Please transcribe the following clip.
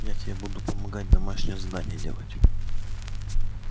я тебе буду помогать домашнее задание делать